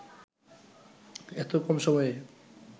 এত কম সময়ে